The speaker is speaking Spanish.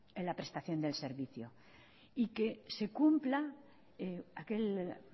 para la prestación del servicio y que se cumpla en aquel